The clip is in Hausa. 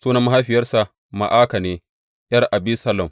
Sunan mahaifiyarsa Ma’aka ne, ’yar Abisalom.